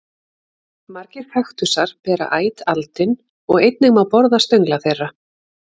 Margir kaktusar bera æt aldin og einnig má borða stöngla þeirra.